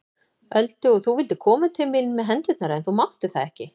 Öldu og þú vildir koma til mín með hendurnar en þú máttir það ekki.